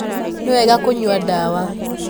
Nĩwega kunyua dawa.